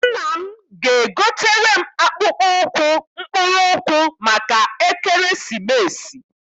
Nna m ga- egotere m akpụkpọ ụkwụ mkpụrụ ụkwụ maka ekeresimesi.